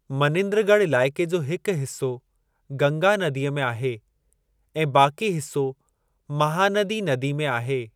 मनिंद्रगढ़ इलाइक़े जो हिकु हिसो गंगा नदीअ में आहे ऐं बाक़ी हिसो महानदी नदी में आहे।